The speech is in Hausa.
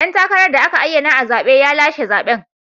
Dan takarar da aka ayyana a zabe ya lashe zaben.